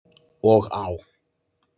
Og á.